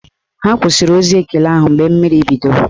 Ha kwụsịrị ozi ekele ahụ mgbe mmiri bidoro